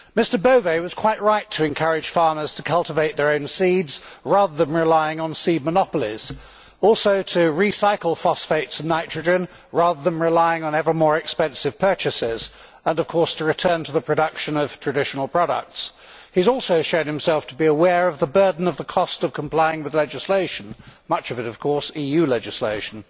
Mr Bové was quite right to encourage farmers to cultivate their own seeds rather than relying on seed monopolies, and also to recycle phosphates and nitrogen rather than relying on evermore expensive purchases, and of course to return to the production of traditional products. He has also shown himself to be aware of the burden of the cost of complying with legislation much of it of course EU legislation.